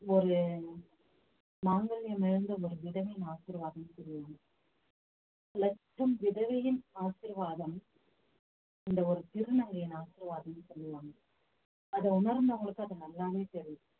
ஒரு மங்கலயம் இழந்த ஒரு விதவையின் ஆசீர்வாதம் லட்சம் விதவையின் ஆசீர்வாதம் இந்த ஒரு திருநங்கையின் ஆசீர்வாதம் சொல்லுவாங்க அதை உணர்ந்தவங்களுக்கு அது நல்லாவே தெரியும்